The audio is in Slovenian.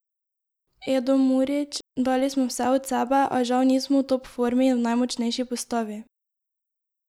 Edo Murić: "Dali smo vse od sebe, a žal nismo v top formi in v najmočnejši postavi.